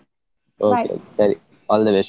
ಸರಿ all the best .